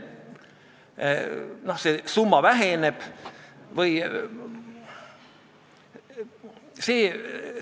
Tuli ühesõnaga otsustada, kas me katsume olemasolevast eelnõust midagi teha või valime teise seisukoha.